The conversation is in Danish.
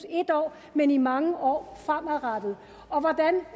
en år men i mange år fremadrettet og hvordan